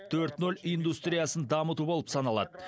төрт нөл индустриясын дамыту болып саналады